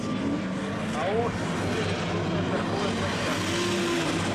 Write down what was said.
ао единая электронная торговая площадка